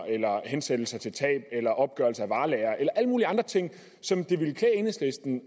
hensættelser til tab eller opgørelser af varelagre eller alle mulige andre ting som det ville klæde enhedslisten